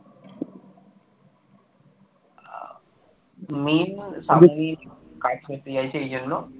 কাজ করতে চাইছে এই জন্য